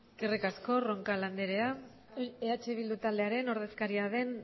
eskerrik asko roncal anderea eh bildu taldearen ordezkaria den